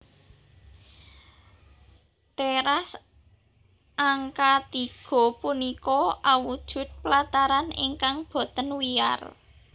Teras angka tiga punika awujud plataran ingkang boten wiyar